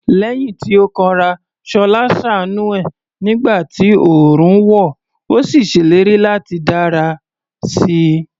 Lẹ́yìn tí ó kanra, Ṣọlá ṣàánú ẹ̀ nígbà tí oòrùn wọ̀, ó sì ṣèlérí láti dára sí i.